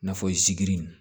N'a fɔ sigini